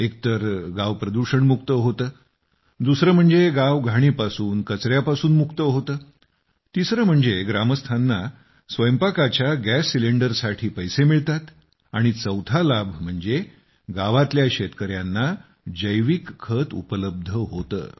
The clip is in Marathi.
एक तर गाव प्रदूषण मुक्त होते दुसरे म्हणजे गाव घाणीपासून कचऱ्यापासून मुक्त होते तिसरे म्हणजे ग्रामस्थांना स्वयंपाकाच्या गॅस सिलेंडर साठी पैसे मिळतात आणि चौथा लाभ म्हणजे गावातल्या शेतकऱ्यांना जैविक खत उपलब्ध होतं